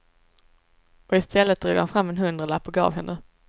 Och i stället drog han fram en hundralapp och gav henne.